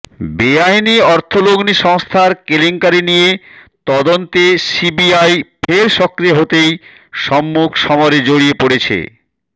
বেআইনি অর্থলগ্নি সংস্থার কেলেঙ্কারি নিয়ে তদন্তে সিবিআই ফের সক্রিয় হতেই সম্মুখ সমরে জড়িয়ে পড়েছে